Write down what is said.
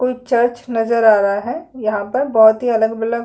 कोई चर्च नजर आ रहा है यहाँ पर बहुत ही अलग -बिलग --